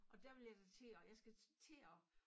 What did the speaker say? Og dér vil jeg da til at jeg skal til at